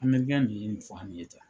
ninnu ye ta.